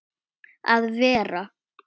að vera.